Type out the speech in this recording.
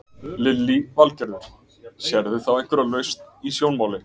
Lillý Valgerður: Sérðu þá einhverja lausn í sjónmáli?